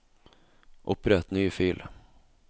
Opprett ny fil